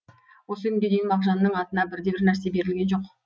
осы күнге дейін мағжанның атына бір де бір нәрсе берілген жоқ